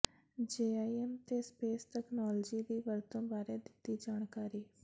GIS ਤੇ space technology ਦੀ ਵਰਤੋਂ ਬਾਰੇ ਦਿੱਤੀ ਜਾਣਕਾਰੀ